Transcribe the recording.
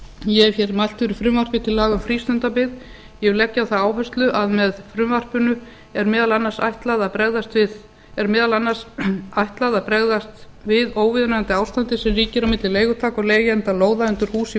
ég hef mælt fyrir frumvarpi til laga um frístundabyggð ég vil leggja á það áherslu að með frumvarpinu er meðal annars ætlað að bregðast við óviðunandi ástandi sem ríkir á milli leigutaka og leigjenda lóða undir hús í